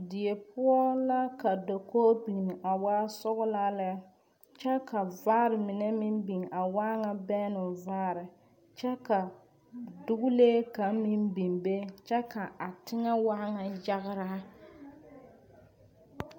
Die poɔ la ka dakogi biŋ a waa sɔglaa lɛ kyɛ ka vaare mine meŋ biŋ a waa ŋa bɛnnoo vaare kyɛ ka dogile kaŋ meŋ biŋ kyɛ kaa teŋɛ waa ŋa yageraa.